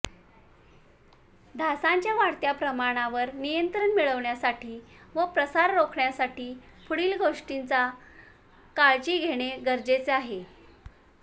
डासांच्या वाढत्या प्रमाणावर नियंत्रण मिळवण्यासाठी व प्रसार रोखण्यासाठी पुढील गोष्टींचा काळजी घेणे गरजेचे आहे